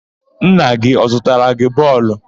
Nna gị ọ zụtara gị bọọlụ?